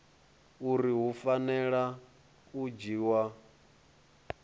uri hu fanela u dzhiwa